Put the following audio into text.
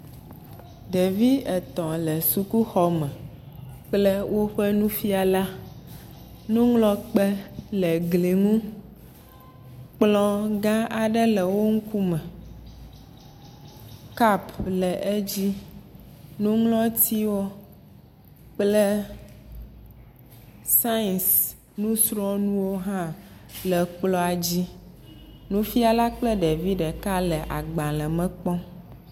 Ɖevi etɔ̃ le sukuxɔme kple woƒe nufiala. Nuŋlɔkpe le gli ŋu, kplɔ gã aɖe le wo ŋkume, kap le edzi, nuŋlɔtiwo kple scince busrɔ̃nuwo hã le kplɔa dzi. Nufiala kple ɖevi ɖeka le agbale me kpɔm.